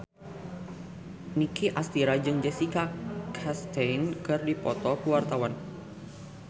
Nicky Astria jeung Jessica Chastain keur dipoto ku wartawan